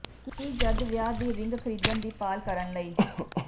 ਕੀ ਜਦ ਵਿਆਹ ਦੀ ਰਿੰਗ ਖਰੀਦਣ ਦੀ ਭਾਲ ਕਰਨ ਲਈ